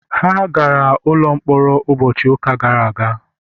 ha gara n’ụlọ mkpọrọ ụbọchị ụka gara aga